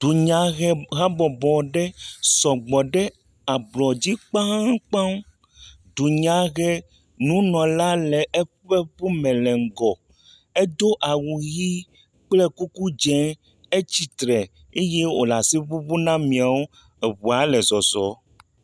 Dunyahehabɔbɔ aɖe sɔgbɔ ɖe ablɔ dzi kpakpaŋ. Dunyahenunɔla le eƒe ŋu me le ŋgɔ. Edo awu ʋi kple kuku dzɛ̃, etsi tre eye wole asi ŋuŋum ne ameawo. Ŋua le zɔzɔm.